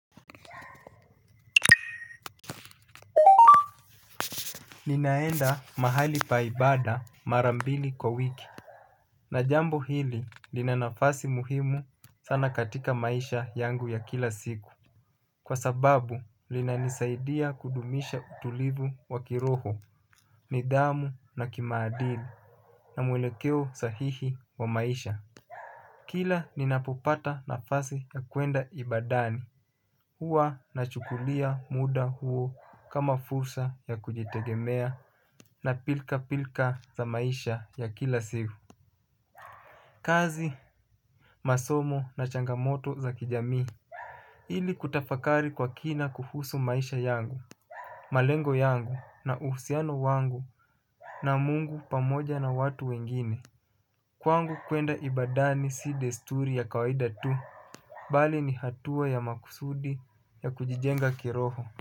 Ninaenda mahali pa ibada mara mbili kwa wiki. Na jambo hili lina nafasi muhimu sana katika maisha yangu ya kila siku. Kwa sababu linanisaidia kudumisha utulivu wa kiroho. Nidhamu na kimaadili na mwelekeo sahihi wa maisha kila ninapopata nafasi ya kuenda ibadani huwa nachukulia muda huo kama fursa ya kujitegemea. Na pilka pilka za maisha ya kila siku kazi, masomo na changamoto za kijamii. Ili kutafakari kwa kina kuhusu maisha yangu. Malengo yangu, na uhusiano wangu na Mungu pamoja na watu wengine kwangu kwenda ibadani si desturi ya kawaida tu bali ni hatua ya makusudi ya kujijenga kiroho.